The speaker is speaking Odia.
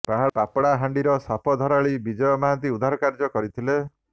ପାପଡାହାଣ୍ଡିର ସାପ ଧରାଳି ବିଜୟ ମହାନ୍ତି ଉଦ୍ଧାର କାର୍ଯ୍ୟ କରିଥିଲେ